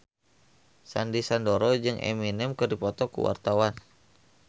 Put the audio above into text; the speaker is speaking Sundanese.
Sandy Sandoro jeung Eminem keur dipoto ku wartawan